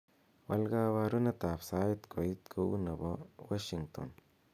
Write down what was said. wal koborunet ab sait koit neu nebo washington